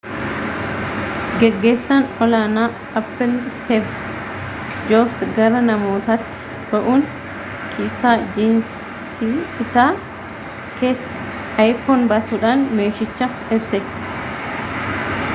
gaggeesan ol aanaa apple steve jobs gara namootatti ba'uun kiisaa jiinsii isaa keessa iphone basuudhan meeshichaa ibsee